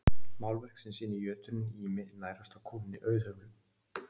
Málverk sem sýnir jötuninn Ými nærast á kúnni Auðhumlu.